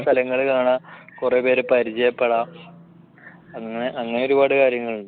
സ്ഥലങ്ങൾ കാണുക കുറെ പേരെ പരിചയപ്പെടാം അങ്ങനെ അങ്ങനെ ഒരുപാട് കാര്യങ്ങളുണ്ട്